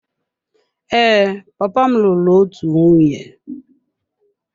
Ee, papa m lụrụ otu nwunye.